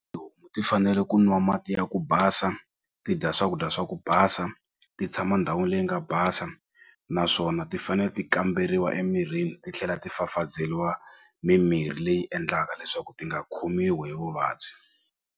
ti fanele ku nwa mati ya ku basa ti dya swakudya swa ku basa ti tshama ndhawini leyi nga basa naswona ti fane ti kamberiwa emirhini titlhela ti fafazeliwa mimirhi leyi endlaka leswaku ti nga khomiwi hi vuvabyi.